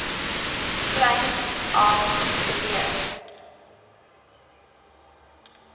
kleins af geleer